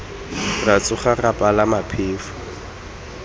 ra tsoga re palama phefo